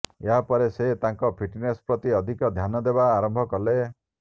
ଏହା ପରେ ସେ ତାଙ୍କ ଫିଟନେସ ପ୍ରତି ଅଧିକ ଧ୍ୟାନ ଦେବା ଆରମ୍ଭ କଲେ